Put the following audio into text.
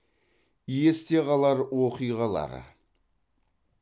есте қалар оқиғалар